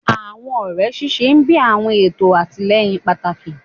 Awọn ọrẹ ṣiṣẹ bi awọn eto atilẹyin pataki